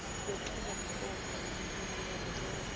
lwenchubomgomo yelulwimi yavelonkhe